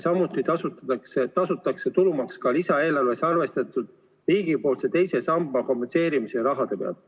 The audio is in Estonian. Samuti tasutakse tulumaks lisaeelarves arvestatud riigipoolse teise samba kompenseerimise raha pealt.